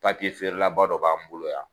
Papiye feerelaba dɔ b'an bolo yan